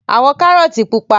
Àwọn kárọ́tì pupa.